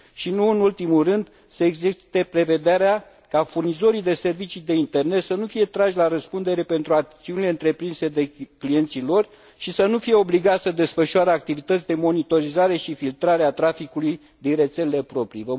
Și, nu în ultimul rând, să existe prevederea ca furnizorii de servicii de internet să nu fie trași la răspundere pentru acțiunile întreprinse de clienții lor și să nu fie obligați să desfășoare activități de monitorizare și filtrare a traficului din rețelele proprii.